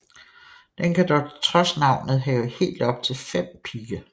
Den kan dog trods navnet have helt op til fem pigge